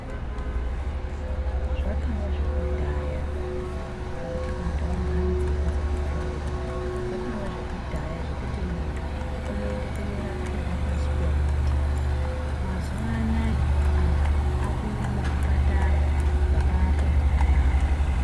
Zvakava zvekudhaya, zvekuti antu unogara mudzimba dzekupfirirwa. Zvakava zvekudhaya zvekuti muntu unoende kunorapirwa pashi pemuti. Mazuwa anaya antu aakuende muzvipatara makaakwe zvakanaka.